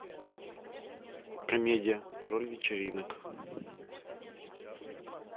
комедия король вечеринок